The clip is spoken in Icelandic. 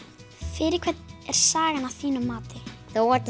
fyrir hvern er sagan að þínu mati þó að